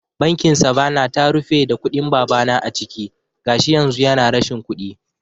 Bankin Savanna ta rufe da kuɗin babana a ciki, gashi yanzu yana rashin kuɗi